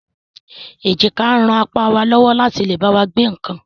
Èjìká ń ràn apá wá lọ́wọ́ láti lè bá wa gbé nǹkan